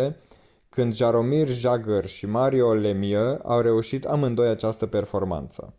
1995-1996 când jaromir jagr și mario lemieux au reușit amândoi această performanță